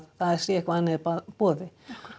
það sé eitthvað annað í boði